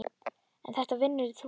en þetta vinnur líka.